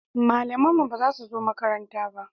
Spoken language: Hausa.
Malaman mu ba su zo makaranta ba